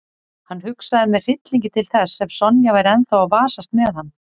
Hann hugsaði með hryllingi til þess ef Sonja væri ennþá að vasast með hann.